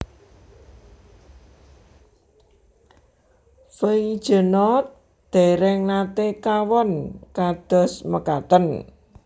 Feijenoord dèrèng naté kawon kados mekaten